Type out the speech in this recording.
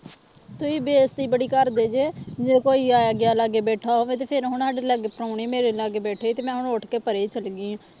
ਤੁਸੀਂ ਬੇਇਜਤੀ ਬੜੀ ਕਰਦੇ ਜੇ ਜੇ ਕੋਈ ਆਇਆ ਗਿਆ ਲਾਗੇ ਬੈਠਾ ਹੋਵੇ ਤੇ ਫਿਰ ਹੁਣ ਸਾਡੇ ਲਾਗੇ ਪਰਾਹੁਣੇ ਮੇਰੇ ਲਾਗੇ ਬੈਠੇ ਤੇ ਮੈਂ ਹੁਣ ਉੱਠ ਕੇ ਪਰੇ ਚਲੇ ਗਈ ਹਾਂ